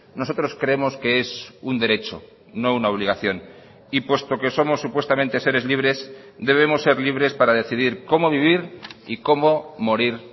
nosotros creemos que es un derecho no una obligación y puesto que somos supuestamente seres libres debemos ser libres para decidir cómo vivir y cómo morir